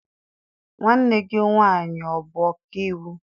Nwanne gị nwaanyị ọ bụ ọka iwu?